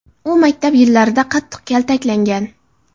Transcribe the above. U maktab yillarida qattiq kaltaklangan.